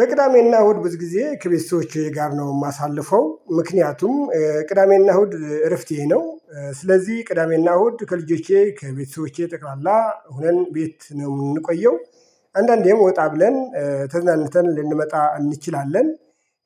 በቅዳሜና እሁድ ብዙ ጊዜ ከቤተሰቦቼ ጋር ነው እማሳልፈው ምክንያቱም ቅዳሜና እሁድ እረፍቴ ነው ስለዚህ ቅዳሜና እሁድ ከልጆቼ ከቤተሰቦቼ ጠቅላላ ሆነን ቤት ነው የምንቆየው አንዳንዴም ወጣ ብለን ተዘናንተን ልንመጣ እንችላለን።